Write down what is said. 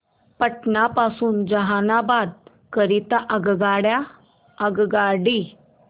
पटना पासून जहानाबाद करीता आगगाडी